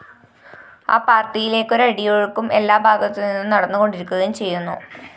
ആ പാര്‍ട്ടിയിലേക്കൊരു അടിയൊഴുക്കും എല്ലാ ഭാഗത്തുനിന്നും നടന്നുകൊണ്ടിരിക്കുകയും ചെയ്യുന്നു